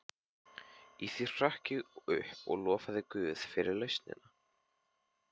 Í því hrökk ég upp og lofaði guð fyrir lausnina.